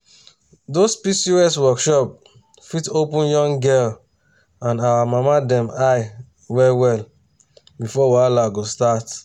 those pcos workshop fit open young girl and our mama dem eye well well before wahala go start.